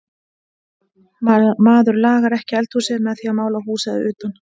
Maður lagar ekki eldhúsið með því að mála húsið að utan.